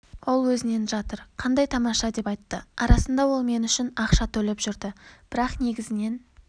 ол өз-өзіненжатыр қандай тамаша деп айтты арасында ол мен үшін ақша төлеп жүрді бірақ негізінен